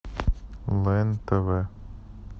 лен тв